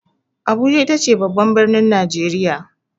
Abuja itace babban birnin Najeriya ne.